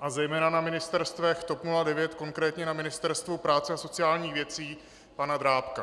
a zejména na ministerstvech TOP 09, konkrétně na Ministerstvu práce a sociálních věcí pana Drábka.